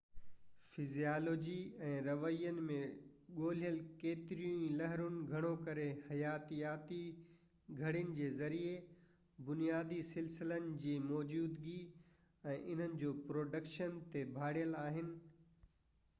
physiology ۽ روين ۾ ڳوليل ڪيتريون ئي لهرون گهڻو ڪري حياتياتي گهڙين جي ذريعي بنيادي سلسلن جي موجودگي ۽ انهن جو پروڊڪشن تي ڀاڙيل آهن